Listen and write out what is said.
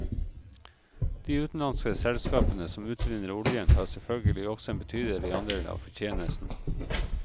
De utenlandske selskapene som utvinner oljen tar selvfølgelig også en betydelig andel av fortjenesten.